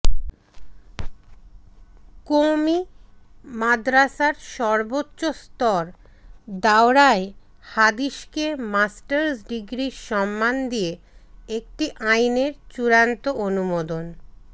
কওমি মাদরাসার সর্বোচ্চ স্তর দাওরায়ে হাদিসকে মাস্টার্স ডিগ্রির সমমান দিয়ে একটি আইনের চূড়ান্ত অনুমোদন